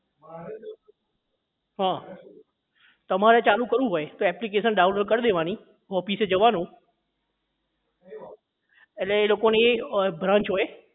હા તમારે ચાલુ કરવું હોય તો application download કરી દેવાની office એ જવાનું એટલે એ લોકો ની branch હોય